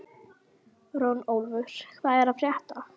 Runólfur, hvað er að frétta?